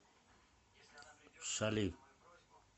шали